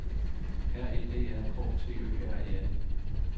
R E D A K T Ø R E N